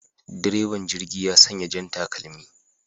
Direban jirgi ya sanya jan takalmi